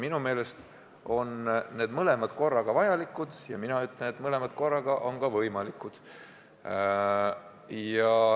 Minu meelest on need mõlemad korraga vajalikud ja mina ütlen, et mõlemad korraga on ka võimalikud.